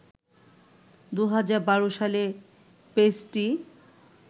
২০১২ সালে পেজটি